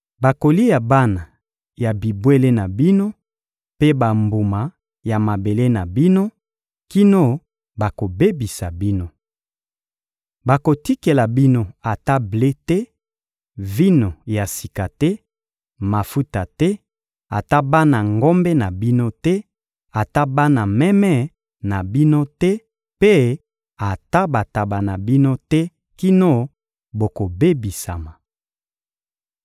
Bakolia bana ya bibwele na bino mpe bambuma ya mabele na bino, kino bakobebisa bino. Bakotikela bino ata ble te, vino ya sika te, mafuta te, ata bana ngombe na bino te, ata bana meme na bino te mpe ata bantaba na bino te kino bokobebisama.